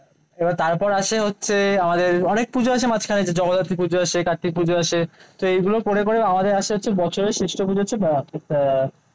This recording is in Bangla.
এবার তারপর আসে হচ্ছে আমাদের অনেক পুজো আছে মাঝখানে জগদ্ধাত্রী পূজা আসে কার্তিক পুজো আসে সেইগুলো করে করে আমাদের আসে হচ্ছে বছরের শ্রেষ্ঠ পুজো হচ্ছে আহ